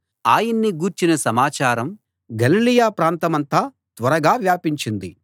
ఆయన్ని గూర్చిన సమాచారం గలిలయ ప్రాంతమంతా త్వరగా వ్యాపించింది